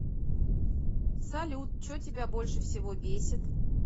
салют че тебя больше всего бесит